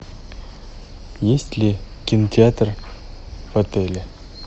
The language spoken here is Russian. есть ли кинотеатр в отеле